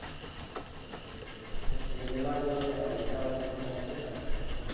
નય એ લેવા જેવો છે પૈસા વસુલ ફોન છેને ભાઈ